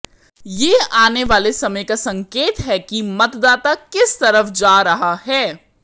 ये आने वाले समय का संकेत है कि मतदाता किस तरफ जा रहा है